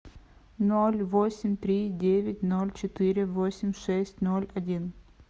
ноль восемь три девять ноль четыре восемь шесть ноль один